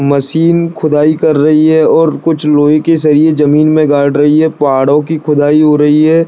Machine खुदाई कर रही हैं और कुछ लोहे के सरिये जमीन में गाड रही हैं पहाड़ों की खुदाई हो रही हैं ।